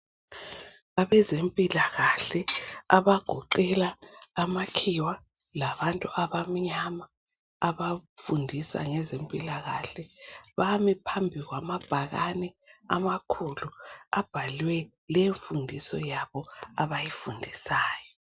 Abezempilakahle abagoqela amakhiwa labantu abamnyama abafundisa ngezempilakahle bami phambi kwama bhakane amakhulu abhalwe imfundiso yabo abayifundisayo.